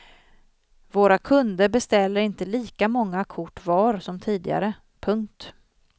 Våra kunder beställer inte lika många kort var som tidigare. punkt